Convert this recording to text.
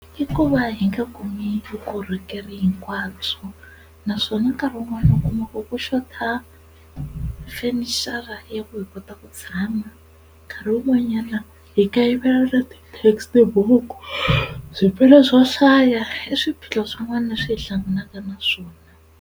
I ku va hi nga kumi vukorhokeri hinkwabyo naswona nkarhi wun'wana u kumaka ku xota fenichara ya ku hi kota ku tshama nkarhi wun'wanyana hi kayivela na ti-textbook, swo hlaya i swiphiqo swin'wana leswi hi hlanganaka na swona.